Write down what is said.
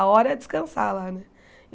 A hora é descansar lá, né?